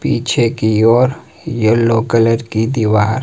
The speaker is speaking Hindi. पीछे की ओर येलो रंग की दीवार--